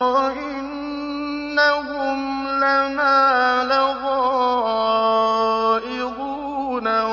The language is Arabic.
وَإِنَّهُمْ لَنَا لَغَائِظُونَ